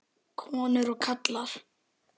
Konur og karlar.